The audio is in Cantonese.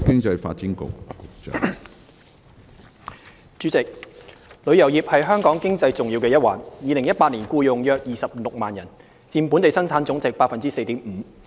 主席，旅遊業是香港經濟重要的一環 ，2018 年僱用約26萬人，佔本地生產總值 4.5%。